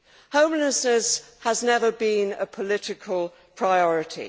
Homelessness has never been a political priority